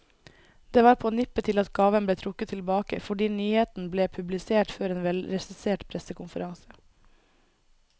Det var på nippet til at gaven ble trukket tilbake, fordi nyheten ble publisert før en velregissert pressekonferanse.